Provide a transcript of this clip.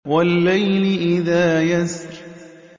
وَاللَّيْلِ إِذَا يَسْرِ